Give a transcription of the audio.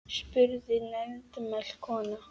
spurði nefmælt kona.